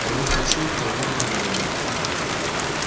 кого хочу того и набираю